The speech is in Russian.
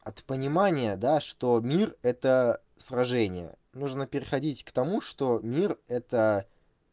от понимания да что мир это сражение нужно переходить к тому что мир это